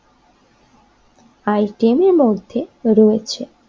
আইটেমের মধ্যে রয়েছে।